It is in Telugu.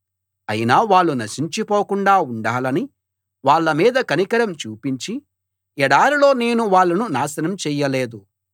అయినా వాళ్ళు నశించిపోకుండా ఉండాలని వాళ్ళ మీద కనికరం చూపించి ఎడారిలో నేను వాళ్ళను నాశనం చెయ్యలేదు